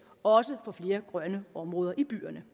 også får flere grønne områder i byerne